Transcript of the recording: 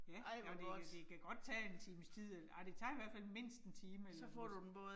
Ja, og de kan de kan godt tage 1 times tid, eller ej det tager i hvert fald mindst 1 time eller